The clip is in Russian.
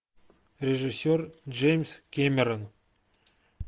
режиссер джеймс кэмерон